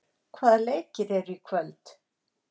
Vémundur, hvaða leikir eru í kvöld?